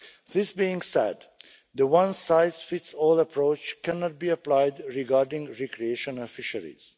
This being said, the one-size-fits-all approach cannot be applied regarding recreational fisheries.